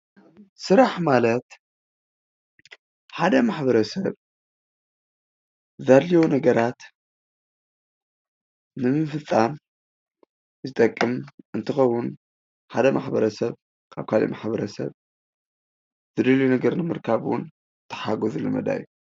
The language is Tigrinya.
ስራሕ ማለት ሓደ ማሕበረሰብ ዘድልዮ ነገራት ንምፍፃም ዝጠቅም እንትከውን ሓደ ማሕበረሰብ ካብ ካሊእ ማሕበረሰብ ዝደልዮ ነገር ንምርካብ እውን ዝተሓጋገዝሉ መዳይ እዩ።